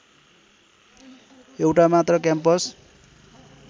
एउटा मात्र क्याम्पस